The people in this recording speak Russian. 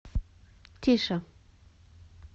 тише